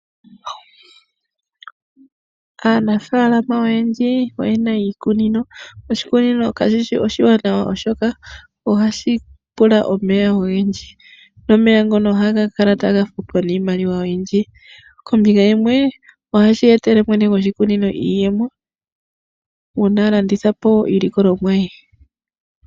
Aanafaalama oyendji oye na iikunino. Oshikunino kashi shi oshiwanawa, oshoka ohashi pula omeya ogendji, nomeya ngoka ohaga kala nokufutwa iimaliwa oyindji. Kombinga yimwe, ohashi etele mwene gwoshikunino iiyemo, uuna a landitha po iilikolomwa ye.